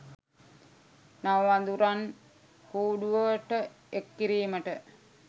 නව වඳුරන් කූඩුවට එක් කිරීමට